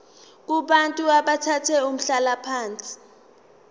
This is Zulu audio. kubantu abathathe umhlalaphansi